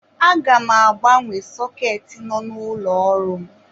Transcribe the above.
Aga m agbanwe sọketi nọ n'ụlọ ọrụ m.